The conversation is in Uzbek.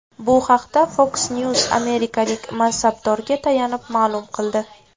Bu haqda Fox News amerikalik mansabdorga tayanib ma’lum qildi.